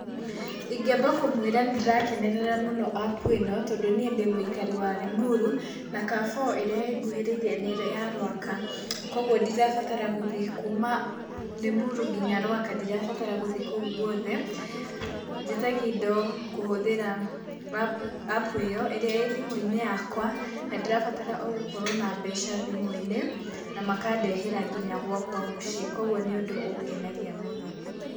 Ingĩamba kũmwĩra nĩndĩrakenerera mũno app ĩno, tondũ niĩ ndĩ mũikari wa Rĩmuru, na Carrefour ĩrĩa ĩnguhĩrĩirie nĩ ĩrĩa ya Rwaka, koguo ndirabatara gũthiĩ kuma Rĩmuru nginya Rwaka, ndirabatara gũthiĩ kũu guothe, njĩtagia indo kũhũthĩra app ĩyo, ĩrĩa ĩ thimũ-inĩ yakwa, na ndĩrabatara ogũkorwo na mbeca thimũ-inĩ na makandehera nginya gwakwa mũciĩ, koguo nĩ ũndũ ũngenagia mũno.